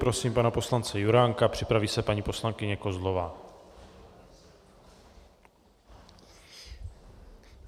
Prosím pana poslance Juránka, připraví se paní poslankyně Kozlová.